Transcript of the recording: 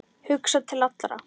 Hugsa til allra.